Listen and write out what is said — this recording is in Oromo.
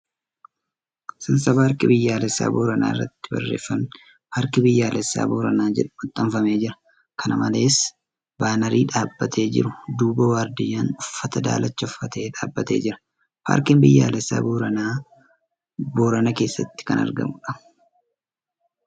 Seensa paarkii biyyoolessaa Booranaa irratti barreeffamni ' Paarkii Biyyoolesaaa Booranaa ' jedhu maxxanfamee jira. Kana malees, baanarii dhaabbtee jiru duuba waardiyyaan uffata daalacha uffate dhaabbatee jira. Paarkiin biyyaalessaa Booranaa Boorana keessatti kan argamuudha.